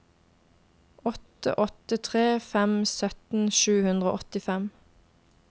åtte åtte tre fem sytten sju hundre og åttifem